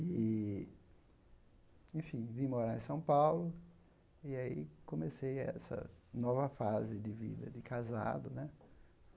E, enfim, vim morar em São Paulo e aí comecei essa nova fase de vida de casado, né?